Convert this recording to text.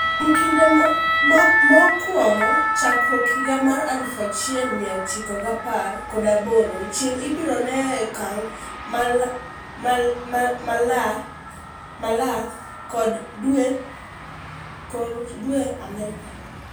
kuom kinde ma okwongo chakruok higa mar aluf achiel mia ochiko gi apar kod aboro, chieng' ibro nuang' e okang' malach kod dwe Amerka